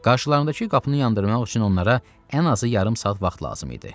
Qarşılarında ki qapını yandırmaq üçün onlara ən azı yarım saat vaxt lazım idi.